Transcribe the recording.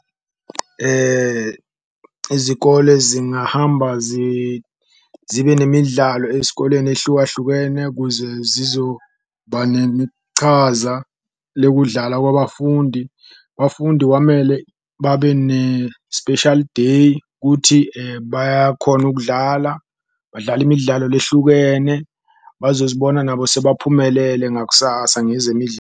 Izikole zingahamba zibe nemidlalo ezikoleni eyihlukahlukene kuze zizoba nechaza lokudlala kwabafundi, bafundi kwamele babe ne-special day kuthi bayakhona kudlala, badlala imidlalo lehlukene. Bazozibona nabo sebaphumelele ngakusasa .